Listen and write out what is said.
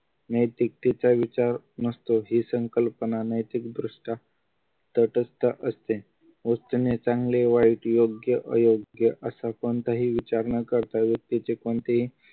नैतिकतेचा विचार नसतो ही संकल्पना नैतिक दृष्ट्या तठस्थ असते व्यक्तीने चांगले वाईट योग्य अयोग्य असे कोणतेही विचार न करता व्यक्तीचे कोणतेही